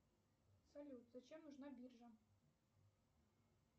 салют зачем нужна биржа